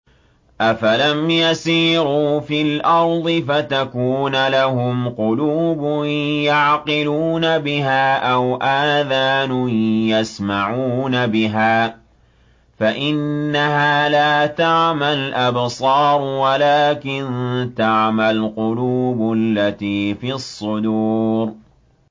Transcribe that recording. أَفَلَمْ يَسِيرُوا فِي الْأَرْضِ فَتَكُونَ لَهُمْ قُلُوبٌ يَعْقِلُونَ بِهَا أَوْ آذَانٌ يَسْمَعُونَ بِهَا ۖ فَإِنَّهَا لَا تَعْمَى الْأَبْصَارُ وَلَٰكِن تَعْمَى الْقُلُوبُ الَّتِي فِي الصُّدُورِ